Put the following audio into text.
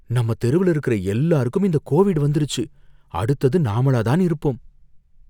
நம்ம தெருவுல இருக்கற எல்லாருக்கும் இந்த கோவிட் வந்துருச்சு, அடுத்தது நாமளா தான் இருப்போம்.